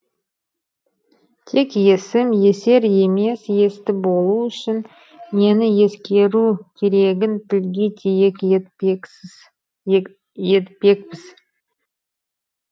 тек есім есер емес есті болу үшін нені ескеру керегін тілге тиек етпекпіз